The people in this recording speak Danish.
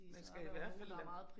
Man skal i hvert fald